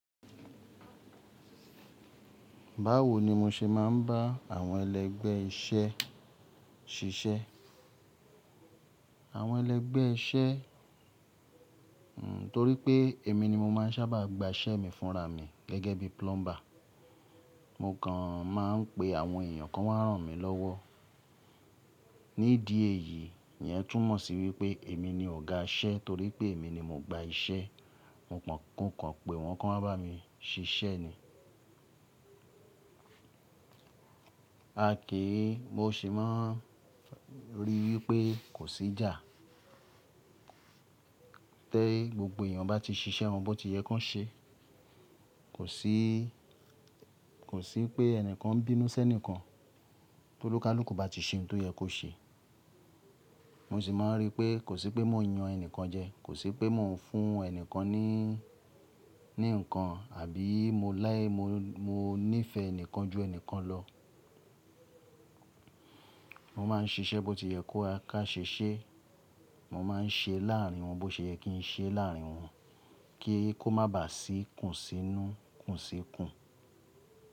Báwo ni mo ṣe máa ń bá àwọn ẹlẹ́gbẹ́ iṣẹ́ ṣiṣẹ́? Àwọn ẹlẹ́gbẹ́ iṣẹ́, n torípé èmi ni mo máa ń sábà gba iṣẹ́ mi fúnra mi gẹ́gẹ́ bí plumber. Mo kàn máa ń pe àwọn èèyàn kan wá ràn mí lọ́wọ́. Nídìí èyí ni yẹn tún mọ̀ sí wípé èmi ni ọ̀gá iṣẹ́ torípé èmi ni mo gba iṣẹ́. Mo kan mo kàn pé wọn kan wáa bá mi ṣiṣẹ́ ni. A kìí, mo sì máa ń ríi wípé kò sí ìjà. Tẹ́ gbogbo èèyàn bá ti ṣiṣẹ́ won bọ́ tí yẹ kó ṣe. Kò sí, kò sí pé ẹnìkan ń bínú sí ẹnìkan, tó onikaluku bá ti ṣe ohun tó yẹ kó ṣe. Mo sì máa ń ríi pé kò sí pé mò ń yan ẹnìkan jẹ, kò sí pé mò ń fún ẹni nìkan ní, ní nǹkan àbí mo láì mó níìfẹ̀ ẹni kan ju ẹni kan lọ. Mo máa ń ṣiṣẹ́ bó ti yẹ kó a ká ṣe iṣẹ́. Mo máa ń ṣe láàrin wọn bó ṣe yẹ kí n ṣe láàrin wọn kí kò má bà sí kùnsínú kùnsí kù.